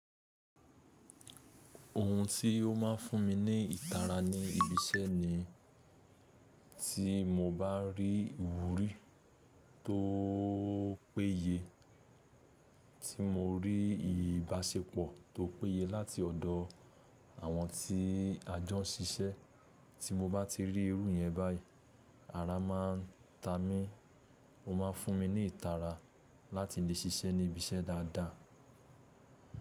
Ohun tí ó máa ń fún mi ní ìtara ní ibi iṣẹ́ ni, tí mo bá rí ìwúrí tó péye, tí mo rí ìbáṣepọ̀ tó péye láti ọ̀dọ̀ àwọn tí a jọ ń ṣiṣẹ́, tí mo bá ti rí irú yẹn báyìí, ara máa ń ta mi. Ó máa ń fún mi ní ìtara láti lè ṣiṣẹ́ ní ibi iṣẹ́ dáadáa.